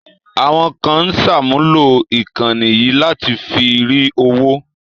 Àwọn kan ń sàmúlò ìkànnì yìí láti fi rí owó